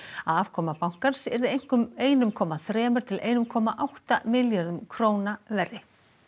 að afkoma bankans yrði einum komma þremur til einum komma átta milljörðum króna verri